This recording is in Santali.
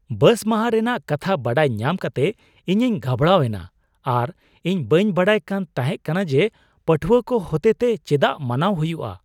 ᱵᱟᱥ ᱢᱟᱦᱟ ᱨᱮᱱᱟᱜ ᱠᱟᱛᱷᱟ ᱵᱟᱰᱟᱭ ᱧᱟᱢ ᱠᱟᱛᱮ ᱤᱧᱤᱧ ᱜᱷᱟᱵᱲᱟᱣ ᱮᱱᱟ ᱟᱨ ᱤᱧ ᱵᱟᱹᱧ ᱵᱟᱰᱟᱭ ᱠᱟᱱ ᱛᱟᱸᱦᱮᱜ ᱠᱟᱱᱟ ᱡᱮ ᱯᱟᱹᱴᱷᱩᱣᱟᱹ ᱠᱚ ᱦᱚᱛᱮᱛᱮ ᱪᱮᱫᱟᱜ ᱢᱟᱱᱟᱣ ᱦᱩᱭᱩᱜᱼᱟ ᱾